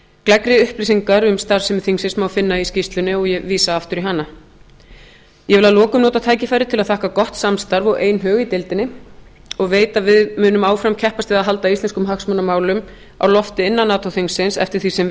gleggri upplýsingar um starfsemi þingsins má finna í skýrslunni og ég vísa aftur í hana ég vil að lokum nota tækifærið til að þakka gott samstarf og einhug í deildinni og veit að við munum áfram keppast við að halda íslenskum hagsmunamálum á lofti innan nato þingsins eftir því sem